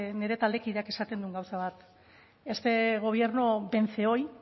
nire taldekideak esaten duen gauza bat este gobierno vence hoy